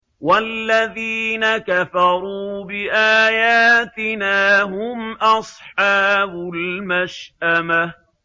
وَالَّذِينَ كَفَرُوا بِآيَاتِنَا هُمْ أَصْحَابُ الْمَشْأَمَةِ